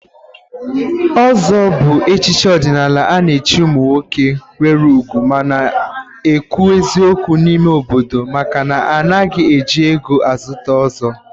Ọ̀zọ́ bụ echichi ọdịnala a na-echi ụmụ nwoke nwere ùgwù ma na-ekwu eziokwu n'ime obodo maka na anaghị eji ego a zụta ọ̀zọ́.